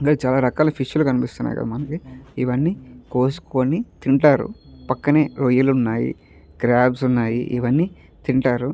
చాలా రకాల ఫిష్లు కనిపిస్తున్నాయి. ఇవన్నీ కోసుకొని తింటారు. పక్కనే రొయ్యలు ఉన్నాయి. క్రాబ్స్ ఉన్నాయి. ఇవన్నీ తింటారు.